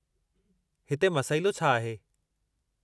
हिते मसइलो छा आहे?